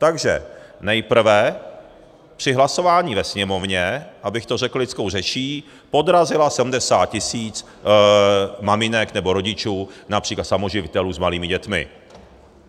Takže nejprve při hlasování ve Sněmovně, abych to řekl lidskou řečí, podrazila 70 tisíc maminek, nebo rodičů, například samoživitelů s malými dětmi.